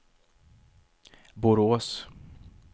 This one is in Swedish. Borås